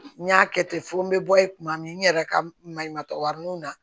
N y'a kɛ ten fɔ n bɛ bɔ yen tuma min n yɛrɛ ka maɲumantɔrɔninw na